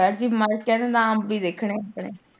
Sir ji ਮੈਂ ਅੰਬ ਹੀ ਵੇਖਣੇ ਆਪਣੇ।